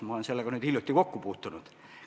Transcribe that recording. Ma olen sellega hiljuti kokku puutunud.